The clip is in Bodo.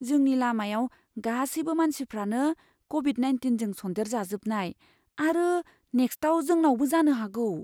जोंनि लामायाव गासैबो मानसिफ्रानो क'भिड नाइनटिनजों सन्देरजाजोबनाय आरो नेक्स्टआव जोंनावबो जानो हागौ।